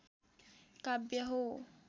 काव्य हो